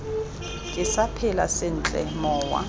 ke sa phela sentle mowa